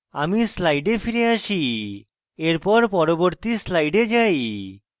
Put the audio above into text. আমি slides ফিরে আসি এখন পরবর্তী slides যাই